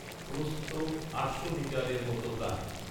প্রস্থ আটশো মিটারের মত প্রায়